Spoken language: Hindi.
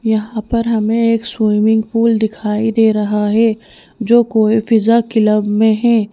यहां पर हमें एक स्विमिंग पूल दिखाई दे रहा है जो कोईफिजा क्लब में है।